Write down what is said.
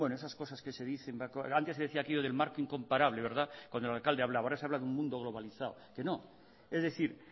bueno esas cosas que se dicen antes decía aquello del marco incomparable cuando el alcalde hablaba ahora se habla de un mundo globalizado que no es decir